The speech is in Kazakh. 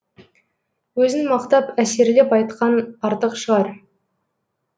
өзін мақтап әсерлеп айтқан артық шығар